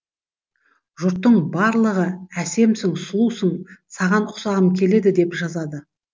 жұрттың барлығы әсемсің сұлусың саған ұқсағым келеді деп жазады